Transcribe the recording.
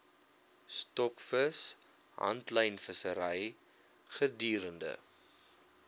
stokvis handlynvissery gedurende